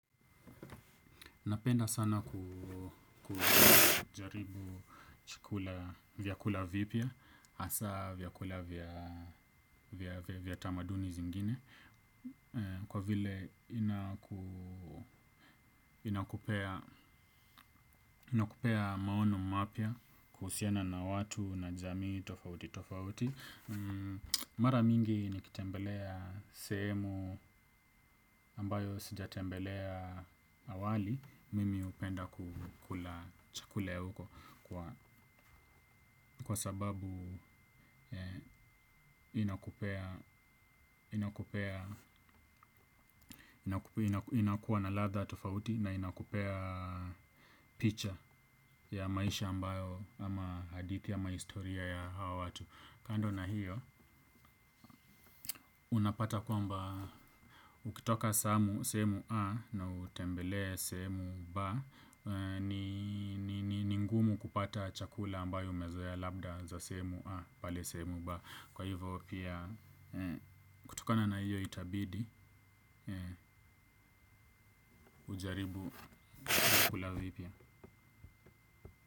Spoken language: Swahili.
Napenda sana kujaribu chakula vyakula vipya, hasa vyakula vya tamaduni zingine, kwa vile inakupea maono mapya kuhusiana na watu na jamii tofauti tofauti. Mara mingi nikitembelea sehemu ambao sijatembelea awali mimi hupenda kukula chakula ya huko kwa sababu inakupea inakuwa na ladha tofauti na inakupea picha ya maisha ambayo ama hadithi ama historia ya hawa watu kando na hiyo unapata kwamba ukitoka sehemu A na utembele sehemu B ni ngumu kupata chakula ambayo umezoea labda za sehemu A pale sehemu B. Kwa hivyo pia kutokana na hiyo itabidi ujaribu vyakula vipya.